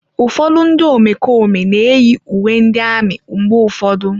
Ụfọdụ ndị omekome na-eyi uwe ndị amị mgbe ụfọdụ.